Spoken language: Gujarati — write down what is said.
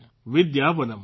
વિદ્યાવનમ